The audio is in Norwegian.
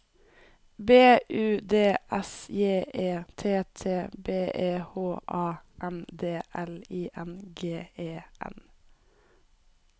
B U D S J E T T B E H A N D L I N G E N